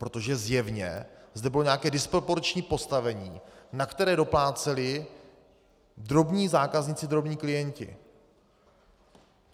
Protože zjevně zde bylo nějaké disproporční postavení, na které dopláceli drobní zákazníci, drobní klienti.